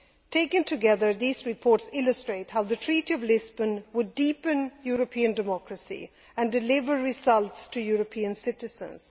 Taken together, these reports illustrate how the Treaty of Lisbon would deepen European democracy and deliver results to European citizens.